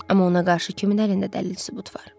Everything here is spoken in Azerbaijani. Amma ona qarşı kimin əlində dəlil sübut var?